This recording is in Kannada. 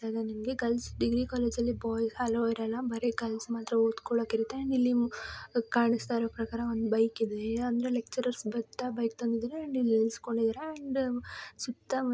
ಅದು ನಿಮಗೆ ಗರ್ಲ್ಸ್ ಡಿಗ್ರಿ ಕಾಲೇಜು ಅಲ್ಲಿ ಬಾಯ್ಸ್ ಅಲೋ ಇರಲ್ಲ. ಬರೆ ಗರ್ಲ್ಸ್ ಮಾತ್ರ ಓದುಕೊಳೋಕೆ ಇರುತ್ತೆ. ನಿಮಗೆ ಕಾಣಿಸುತ್ತಾ ಇರೋ ಪ್ರಕಾರ ಒಂದು ಬೈಕ್ ಇದೆ ಲೇಚರೇರ್ಸ್ ಬರ್ತಾ ಬೈಕ್ ತಂದಿರ್ತಾರೆ ಇಲ್ಲಿ ನೀಳ್ಳ್ಸ್ಕೊಂತರೇ. ಅಂದ್ರೆ ಸುತ್ತಾ--